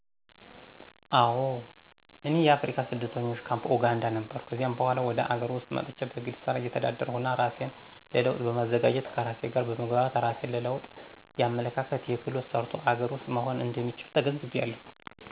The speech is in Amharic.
አወ። እኔ የአፍሪካ የስደተኞች ካፕ ኦጋንዳ ነበርሁ። ከዚያም በሗላ ወደ አገር ዉስጥ መጥቸ በግል ስራ እተዳደራለሁና እራሴን ለለዉጥ በማዘጋጀት ከራሴ ጋር በመግባባት እራሴን ለለዉጥ የአመለካከት: የክህሎት: ሰርቶ አገር ውስጥ መሆር እንደሚቻል ተገንዝቢያለሁ።